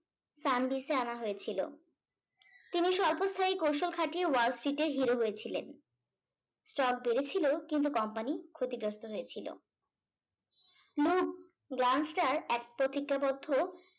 sandwitch এ আনা হয়েছিল তিনি স্বল্প স্থায়ী কৌশল খাটিয়ে wall street এ hero হয়েছিলেন stock বেড়েছিল কিন্তু কোম্পানি ক্ষতিগ্রস্থ হয়েছিল লুব গ্ল্যান্সটার এক প্রতিজ্ঞাবদ্ধ